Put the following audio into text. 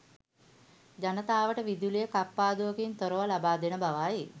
ජනතාවට විදුලිය කප්පාදුවකින් තොරව ලබාදෙන බවයි.